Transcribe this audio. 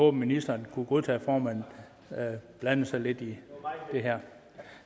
at ministeren kunne godtage at formanden blandede sig lidt i det her